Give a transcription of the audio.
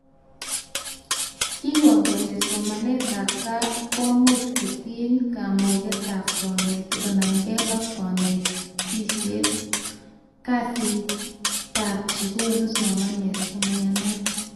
Kekon kole somanetab gaa komuch kotiny kamugetab konetik konamke ak konetuishet, kasitab chekonu somanet chemayanat